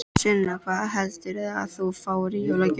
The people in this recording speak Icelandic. Sunna: Hvað heldurðu að þú fáir í jólagjöf?